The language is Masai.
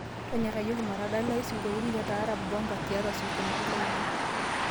tonyorayioki matadalayu sinkoliotin le taarab bomba tiatua sinkoliotin lainei